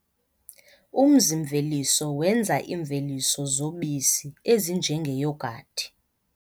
Umzi-mveliso wenza iimveliso zobisi ezinjengeyogathi.